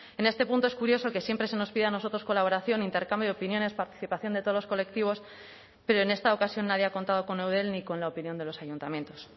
en este punto es curioso que siempre se nos pida a nosotros colaboración intercambio de opiniones participación de todos los colectivos pero en esta ocasión nadie ha contado con eudel ni con la opinión de los ayuntamientos